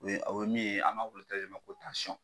O ye o ye min ye an m'a ma ko tansɔn.